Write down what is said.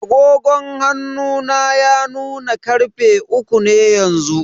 Agogon hannu na ya nuna karfe uku ne yanzu.